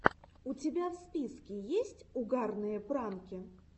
у тебя в списке есть угарные пранки